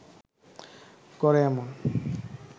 করে এমন